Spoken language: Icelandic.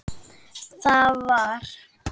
Þar var